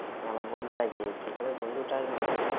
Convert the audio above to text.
আমার বন্ধুটাই দিয়েছে। এখানে আমার বন্ধুর ।